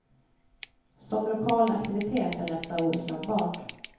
Som lokal aktivitet är detta oslagbart.